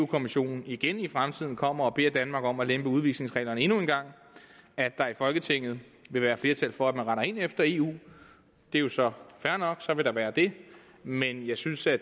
kommissionen igen i fremtiden kommer og beder danmark om at lempe udvisningsreglerne endnu en gang at der i folketinget vil være flertal for at rette ind efter eu det er jo så fair nok så vil der være det men jeg synes at